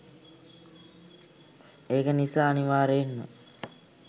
ඒක නිසා අනිවාරෙන්ම